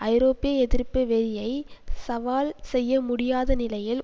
ஐரோப்பிய எதிர்ப்பு வெறியை சவால் செய்ய முடியாத நிலையில்